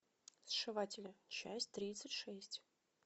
сшиватели часть тридцать шесть